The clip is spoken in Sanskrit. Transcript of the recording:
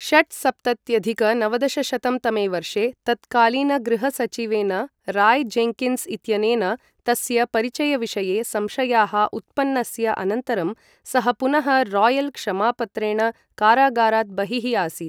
षट्सप्तत्यधिक नवदशशतं तमे वर्षे तत्कालीनगृहसचिवेन रॉय जेन्किन्स् इत्यनेन तस्य परिचयविषये संशयाः उत्पन्नस्य अनन्तरं सः पुनः रॉयल क्षमापत्रेण कारागारात् बहिः आसीत् ।